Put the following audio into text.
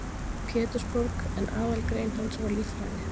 Pétursborg, en aðalgrein hans var líffræði.